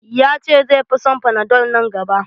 Ya ce zai fi son fanadol nan gaba.